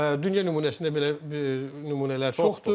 Dünya nümunəsində belə nümunələr çoxdur.